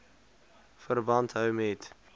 verband hou met